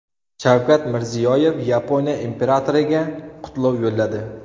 Shavkat Mirziyoyev Yaponiya imperatoriga qutlov yo‘lladi.